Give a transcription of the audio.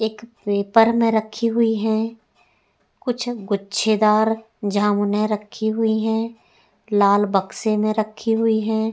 एक पेपर में रखी हुई हैं। कुछ गुच्छेदार जामुने रखी हुई हैं। लाल बक्से में रखी हुई हैं।